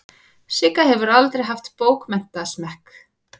Sigga hefur aldrei haft bókmenntasmekk.